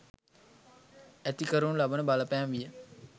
ඇති කරනු ලබන බලපෑම විය.